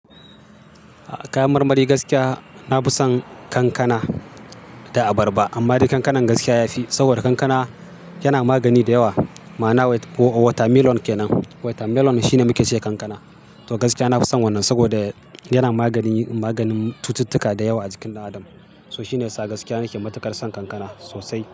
Kayan marmari gaskiya na fi son kankana da abarba, amma dai kankanan gaskiya ya fi, saboda kankana yana magani da yawa. Ma'ana watermelon kenan. Watermelon shine muke cewa kankana. To gaskiya na fi son wannan saboda yana magani, maganin cututtuka da yawa a jikin adam. To shine yasa gaskiya nake matukar son kankana sosai.